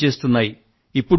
ఇదే పని చేస్తున్నాయి